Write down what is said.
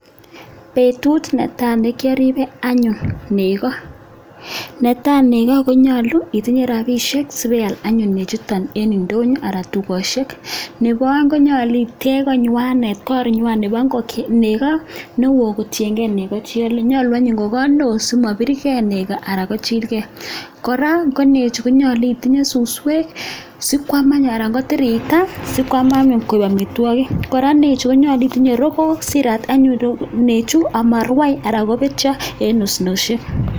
Betut netai nekiaribe anyun nego netai nego konyalu itinye rabsiek sibial anyun nechuton en ndonyo anan tukosiek nebo aeng nyalu itech koi nywanet koinywa nebo nego neuo kotienkei nego cheiole nyalu anyun ko kot neo simabir kei nego anan kochil gei kora ko nechu konyalu itinye suskwek sikwam anun ana kotir ita sikwam anyun koek amitwokik kora nechu konyalu itinye rokook siirat nechu simarwai anan kobetyo en osnosiek.